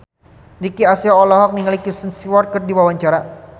Nicky Astria olohok ningali Kristen Stewart keur diwawancara